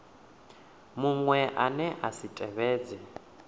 muṅwe ane a si tevhedze